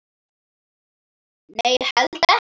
Nei, ég held ekki.